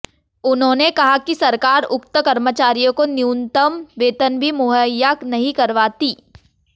उन्होंने कहा कि सरकार उक्त कर्मचारियों को न्यूनतम वेतन भी मुहैया नहीं करवाती